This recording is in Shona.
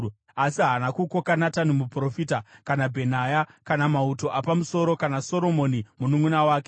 asi haana kukoka Natani muprofita, kana Bhenaya, kana mauto apamusoro, kana Soromoni mununʼuna wake.